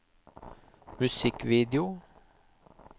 musikkvideo